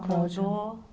Cláudia? Abordou.